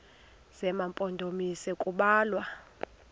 zema mpondomise kubalwa